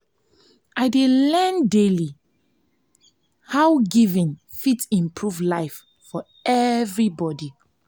i dey learn daily dey learn daily how giving fit improve life for everybody.